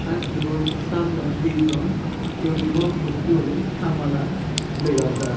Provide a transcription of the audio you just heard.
ar ibot samne dijon uniform ucche guri hamola dega jaar.